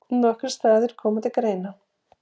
Nokkrir staðir komi til greina.